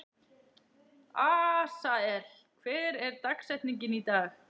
Asael, hver er dagsetningin í dag?